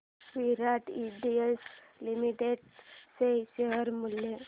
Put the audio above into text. विराट industries limited चे share मूल्य